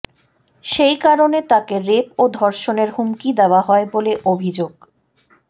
সেই কারণে তাকে রেপ ও ধর্ষণের হুমকি দেওয়া হয় বলে অভিযোগ